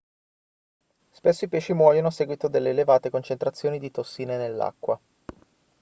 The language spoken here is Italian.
spesso i pesci muoiono a seguito delle elevate concentrazioni di tossine nell'acqua